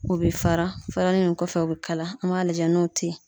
O be fara farali nin kɔfɛ o be kala an b'a lajɛ n'o te ye